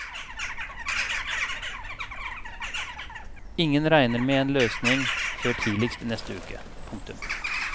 Ingen regner med en løsning før tidligst i neste uke. punktum